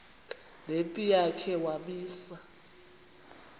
nempi yakhe wamisa